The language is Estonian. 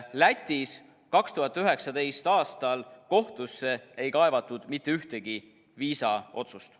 Lätis 2019. aastal kohtusse ei kaevatud mitte ühtegi viisaotsust.